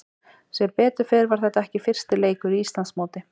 Sem betur fer var þetta ekki fyrsti leikur í Íslandsmóti.